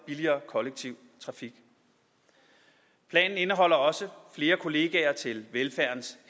billigere kollektiv trafik planen indeholder også flere kollegaer til velfærdens